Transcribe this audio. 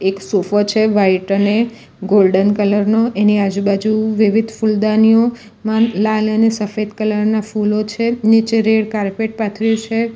એક સોફો છે વ્હાઈટ અને ગોલ્ડન કલર નો એની આજુબાજુ વિવિધ ફૂલદાનીઓમાં લાલ અને સફેદ કલર ના ફૂલો છે નીચે રેડ કાર્પેટ પાથર્યુ છે.